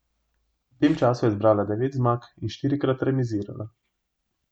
V tem času je zbrala devet zmag in štirikrat remizirala.